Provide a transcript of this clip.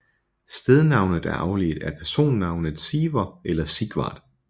Stednavnet er afledt af personnavnet Siver eller Sigvard